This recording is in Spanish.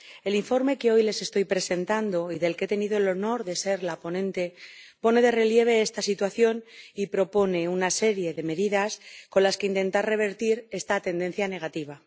El informe que hoy les estoy presentando y del que ha tenido el honor de ser la ponente pone de relieve esta situación y propone una serie de medidas con las que intentar revertir esta tendencia negativa.